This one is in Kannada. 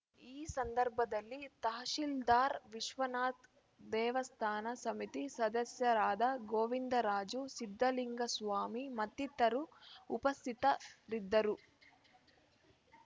ಈ ಸಂದರ್ಭದಲ್ಲಿ ತಹಶೀಲ್ದಾರ್ ವಿಶ್ವನಾಥ್ ದೇವಸ್ಥಾನ ಸಮಿತಿ ಸದಸ್ಯರಾದ ಗೋವಿಂದರಾಜು ಸಿದ್ಧಲಿಂಗಸ್ವಾಮಿ ಮತ್ತಿತರರು ಉಪಸ್ಥಿತರಿದ್ದರು